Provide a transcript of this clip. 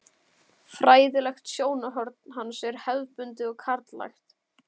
Fræðilegt sjónarhorn hans er hefðbundið og karllægt.